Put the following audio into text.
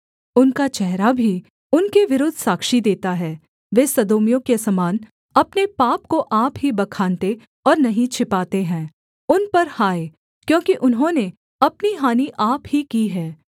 उनका चेहरा भी उनके विरुद्ध साक्षी देता है वे सदोमियों के समान अपने पाप को आप ही बखानते और नहीं छिपाते हैं उन पर हाय क्योंकि उन्होंने अपनी हानि आप ही की है